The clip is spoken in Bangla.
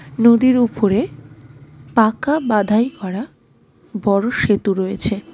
নদীর ওপরে পাঁকা বাঁধাই করা বড়ো সেতু রয়েছে .